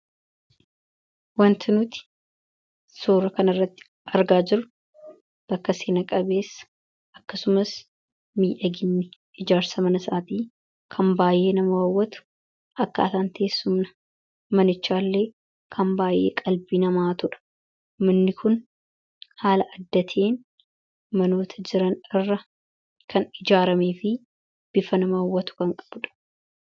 Wanti nuti suuraa kanarratti argaa jirru bakka seena-qabeessa akkasumas miidhaginni ijaarsa mana sanaatii kan baay'ee nama hawwatu, akkaataan teessuma manichaallee kan baay'ee qalbii nama hatudha. Manni kun haaala adda ta'een manoota jiran irra kan ijaaramee fi bifa nama hawwatu kan qabudha.